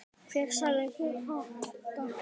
Hver sagði þér þetta?